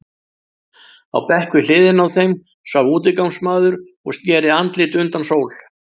Á bekk við hliðina á þeim svaf útigangsmaður og sneri andliti undan sól.